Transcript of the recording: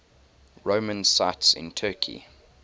roman sites in turkey